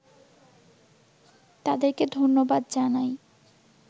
তাদেরকে ধন্যবাদ জানাই